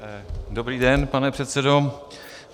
Dobrý den, pane předsedo.